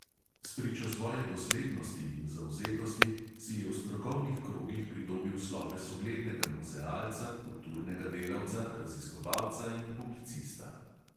Spričo svoje doslednosti in zavzetosti si je v strokovnih krogih pridobil sloves uglednega muzealca, kulturnega delavca, raziskovalca in publicista.